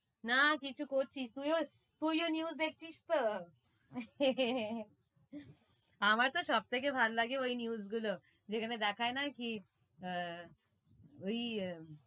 না কিছু করছিস, তুই ও, তুই ও news দেখছিস তো, আমার তো সবথেকে ভাল লাগে ওই news গুলো, যেখানে দেখায় না কি, আহ ওই,